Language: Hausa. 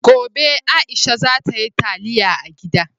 Gobe, Aisha za ta yi taliya a gida.